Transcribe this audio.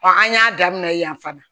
an y'a daminɛ yan fana